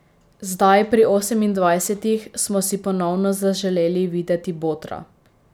Zdaj, pri osemindvajsetih, smo si ponovno zaželeli videti botra.